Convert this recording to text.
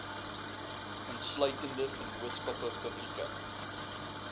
insluitende vennootskappe publieke